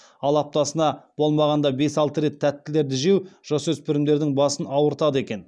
ал аптасына болмағанда бес алты рет тәттілерді жеу жасөспірімдердің басын ауыртады екен